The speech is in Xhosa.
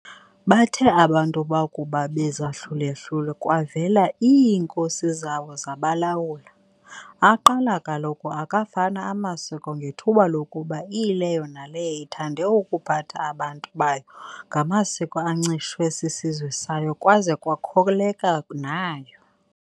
Bathe abantu bakuba bezahlule-hlule, kwavela iinkosi zawo zabalawula, aqala kaloku akafana amasiko ngethuba lokuba iyileyo naleyo ithande ukuphatha abantu bayo ngamasiko ancishwe sisizwe sayo kwaza kwakholeka nayo.